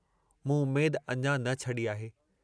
मूं उम्मेद अञां न छडी आहे।